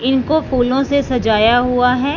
इनको फूलों से सजाया हुआ है।